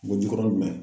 Wolojukɔrɔ